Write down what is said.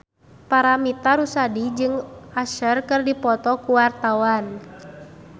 Paramitha Rusady jeung Usher keur dipoto ku wartawan